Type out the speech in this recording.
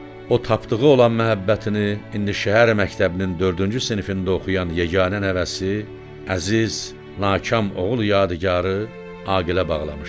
O tapdığı olan məhəbbətini indi şəhər məktəbinin dördüncü sinifində oxuyan yeganə nəvəsi, əziz, nakam oğul yadigarı, Aqilə bağlamışdı.